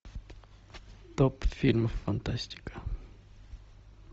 топ фильмов фантастика